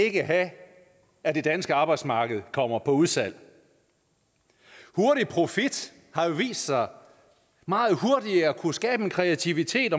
ikke have at det danske arbejdsmarked kommer på udsalg hurtig profit har jo vist sig meget hurtigt at kunne skabe en kreativitet